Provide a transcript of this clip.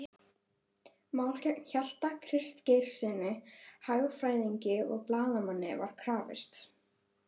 máli gegn Hjalta Kristgeirssyni hagfræðingi og blaðamanni var krafist